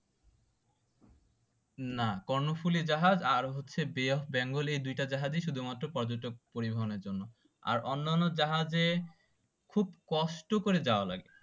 না কর্ণফুলী জাহাজ আর হচ্ছে বে অফ বেঙ্গল এই দুটা জাহাজে শুধুমাত্র পর্যটক পরিবহনের জন্য আর অন্ন্যানো জাহাজে খুব কষ্ট করে যাওয়া লাগে